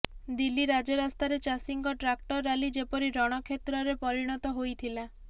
ଦିଲ୍ଲୀ ରାଜରାସ୍ତାରେ ଚାଷୀଙ୍କ tractor rally ଯେପରି ରଣକ୍ଷେତ୍ରରେ ପରିଣତ ହୋଇଥିଲା